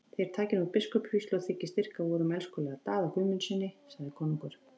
Nú takið þér biskupsvígslu og þiggið styrk af vorum elskulega Daða Guðmundssyni, sagði konungur.